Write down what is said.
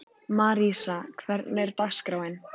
Marísa, hvernig er dagskráin?